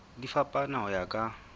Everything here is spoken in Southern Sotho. di fapana ho ya ka